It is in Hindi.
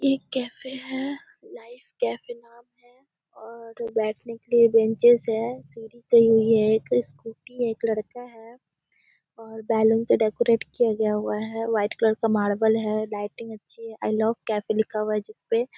एक केफे है लाइफ केफे नाम है और बैठने के लिए बेंचस है सीढ़ी लगी हुई है एक स्कूटी है एक लड़का है और बलून से डेकोरेट किया गया हुआ है व्हाइट कलर का मारबल है लाइटिंग अच्छी है आई लव कफे लिखा हुआ है जिस पे --